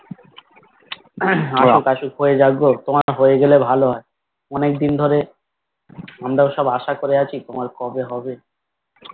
অশোক অশোক হয়ে যাক তো তোমার হয়ে গেলে ভালো হয় অনেকদিন ধরে আমরাও আশা করে আছি তোমার কবে হবে